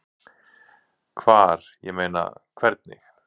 Hvar, ég meina. hvernig?